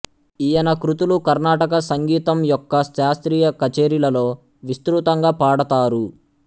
ఈయన కృతులు కర్ణాటక సంగీతం యొక్క శాస్త్రీయ కచేరీలలో విస్తృతంగా పాడతారు